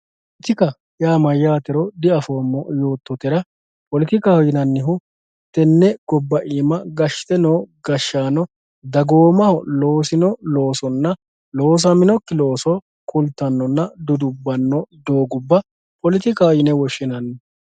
Poletikaho yaa mayyaatero diafoommo yoottotera poletikaho yinannihu tenne gobba iima gashshite noo gashshaano dagoomaho loosino loosonna loosaminokki looso kultannonna dudubbanno wogubba poletikaho yine woshshinanni.